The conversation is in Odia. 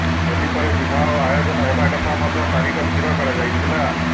ହୋଲି ପରେ ବିବାହ ଆୟୋଜନ ହେବାକଥା ମଧ୍ୟ ତାରିଖ ସ୍ଥିର କରାଯାଇଥିଲା